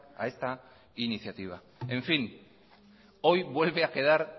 a esta iniciativa hoy vuelve a quedar